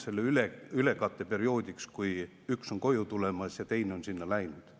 See on ainult ülekatteperioodiks, kui üks on koju tulemas ja teine on sinna läinud.